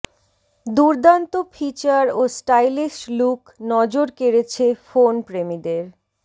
দুর্দান্ত ফিচার ও stylish look নজর কেড়েছে ফোন প্রেমীদের